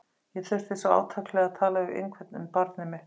Ég þurfti svo átakanlega að tala við einhvern um barnið mitt.